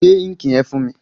Gbé íǹkì yẹn fún mi!